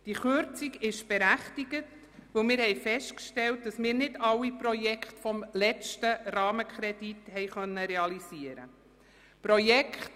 Diese Kürzung ist berechtigt, weil wir festgestellt haben, dass wir nicht alle Projekte des letzten Rahmenkredits haben realisieren können.